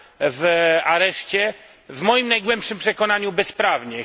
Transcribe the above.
w areszcie, w moim najgłębszym przekonaniu bezprawnie.